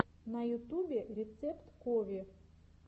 на ютубе рецепт кови